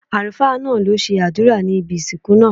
Àlùfáá náà lo ṣe àdúrà ní ibi ìsìnkú náà